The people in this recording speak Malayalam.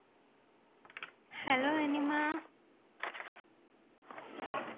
hello നനിമാ